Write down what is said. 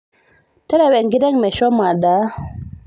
terewa enkiteng meshomo adaa